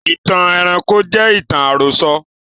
Ìtàn ẹranko jẹ ìtàn àròsọ